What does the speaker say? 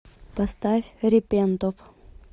поставь репентов